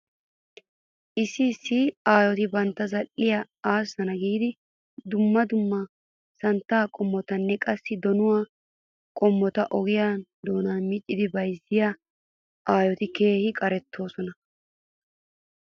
Issi issi aayoti bantta zal'iyaa aassanaw giidi dumma dumma santtaa qommotanne qassi donuwaa qommota oge doonan miccidi bayzziyaa aayoti keehi qaretoosona.